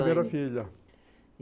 E a primeira filha.